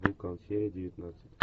вулкан серия девятнадцать